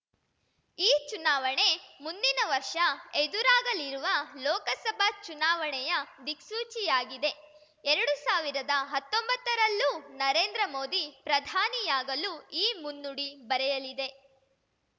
ಈ ಚುನಾವಣೆ ಮುಂದಿನ ವರ್ಷ ಎದುರಾಗಲಿರುವ ಲೋಕಸಭಾ ಚುನಾವಣೆಯ ದಿಕ್ಸೂಚಿಯಾಗಿದೆ ಎರಡು ಸಾವಿರದ ಹತ್ತೊಂಬತ್ತರಲ್ಲೂ ನರೇಂದ್ರ ಮೋದಿ ಪ್ರಧಾನಿಯಾಗಲು ಈ ಮುನ್ನುಡಿ ಬರೆಯಲಿದೆ